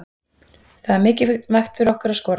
Það er mikilvægt fyrir okkur að skora.